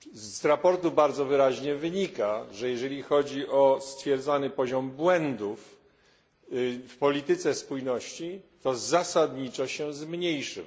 Ze sprawozdania bardzo wyraźnie wynika, że jeżeli chodzi o stwierdzany poziom błędów w polityce spójności, to zasadniczo się zmniejszył.